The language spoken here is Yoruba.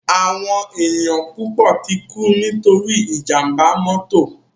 Áwòn éniyàn púpò tikú nitóri ijàmbá mòtó